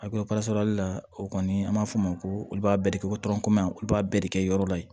la o kɔni an b'a fɔ o ma ko olu b'a bɛɛ de kɛ olu b'a bɛɛ de kɛ yɔrɔ la yen